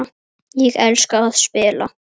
Ég elska að spila.